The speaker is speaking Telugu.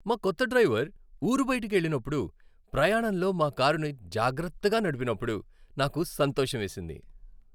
మా కొత్త డ్రైవర్ ఊరు బయటకు వెళ్ళినప్పుడు ప్రయాణంలో మా కారును జాగ్రత్తగా నడిపినప్పుడు నాకు సంతోషమేసింది.